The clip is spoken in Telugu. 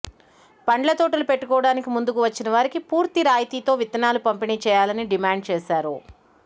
పండ్ల తోటలు పెట్టుకోవడానికి ముందుకు వచ్చిన వారికి పూర్తి రాయితీతో విత్తనాలు పంపిణీ చేయాలని డిమాండ్ చేశారు